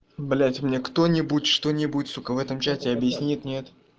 блять мне кто-нибудь что-нибудь сука в этом чате объяснит нет